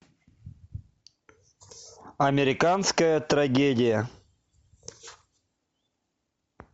американская трагедия